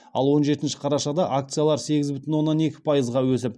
ал он жетінші қарашада акциялар сегіз бүтін оннан екі пайызға өсіп